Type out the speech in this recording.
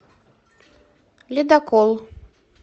ледокол